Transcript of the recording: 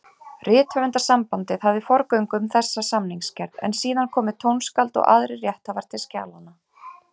Rithöfundasambandið hafði forgöngu um þessa samningsgerð, en síðan komu tónskáld og aðrir rétthafar til skjalanna.